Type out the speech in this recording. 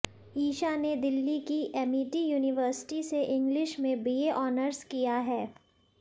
ईशा ने दिल्ली की Amity University से इंग्लिश में बी ए ऑनर्स किया है